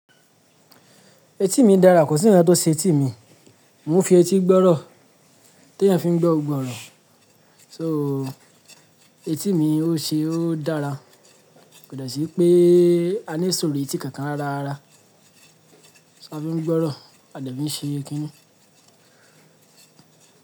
Etí mi dára, kò sí kánkán tó ṣe etí mi. Mo ń fi etí gbọ́rọ̀, tí èèyàn fi ń gbọ́, gbogbo ọ́rọ̀. So etí mi ó ṣe, ó dára. Kò de sí pé a ní ìsòro etí kankan rara. A fi ń gbọ́rọ̀, a de fi e ń ṣe e kíni.